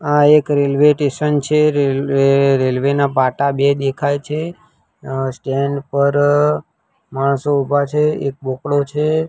આ એક રેલવેટેશન છે રેલ્વે રેલ્વે ના પાટા બે દેખાય છે અ સ્ટેન્ડ પર માણસો ઉભા છે એક ગોખલો છે.